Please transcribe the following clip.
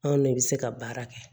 Anw de bɛ se ka baara kɛ